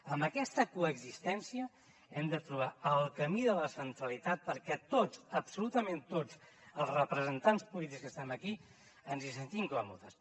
amb aquesta coexistència hem de trobar el camí de la centralitat perquè tots absolutament tots els representants polítics que estem aquí ens hi sentim còmodes